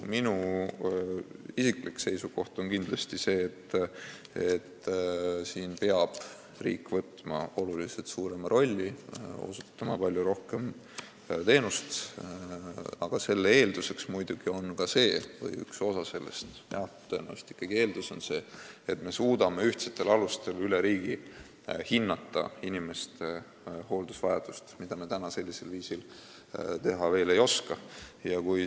Minu isiklik seisukoht on kindlasti see, et riik peab võtma oluliselt suurema rolli, osutama palju rohkem teenust, aga selle eeldus on muidugi ka see või üks osa sellest on see – jah, tõenäoliselt on see ikkagi eeldus –, et me suudame ühtsetel alustel üle riigi hinnata inimeste hooldusvajadust, mida me praegu sellisel viisil veel teha ei oska.